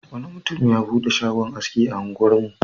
Wani mutum ya buɗe shagon aski a unguwarmu.